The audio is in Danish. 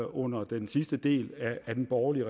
under den sidste del af den borgerlige